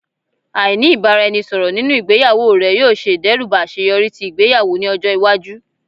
Aini ibaraẹnisọrọ ninu igbeyawo rẹ yoo ṣe idẹruba aṣeyọri ti igbeyawo ni ọjọ iwaju